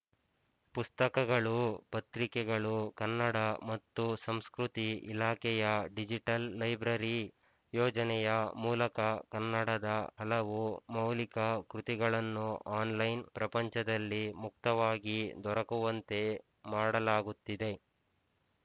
ಪುಸ್ತಕಗಳು ಪತ್ರಿಕೆಗಳು ಕನ್ನಡ ಮತ್ತು ಸಂಸ್ಕೃತಿ ಇಲಾಖೆಯ ಡಿಜಿಟಲ್ ಲೈಬ್ರರಿ ಯೋಜನೆಯ ಮೂಲಕ ಕನ್ನಡದ ಹಲವು ಮೌಲಿಕ ಕೃತಿಗಳನ್ನು ಆನ್‍ಲೈನ್ ಪ್ರಪಂಚದಲ್ಲಿ ಮುಕ್ತವಾಗಿ ದೊರಕುವಂತೆ ಮಾಡಲಾಗುತ್ತಿದೆ